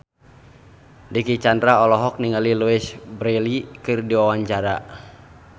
Dicky Chandra olohok ningali Louise Brealey keur diwawancara